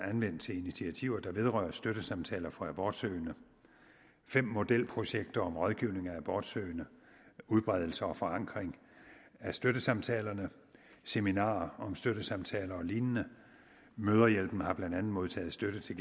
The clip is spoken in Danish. anvendt til initiativer der vedrører støttesamtaler for abortsøgende fem modelprojekter om rådgivning af abortsøgende udbredelse og forankring af støttesamtalerne seminarer om støttesamtaler og lignende mødrehjælpen har blandt andet modtaget støtte til